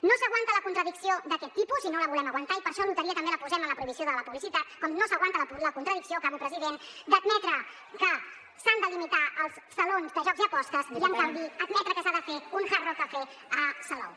no s’aguanta la contradicció d’aquest tipus i no la volem aguantar i per això a loteria també la posem en la prohibició de la publicitat com no s’aguanta la contradicció acabo president d’admetre que s’han de limitar els salons de jocs i apostes i en canvi admetre que s’ha de fer un hard rock cafe a salou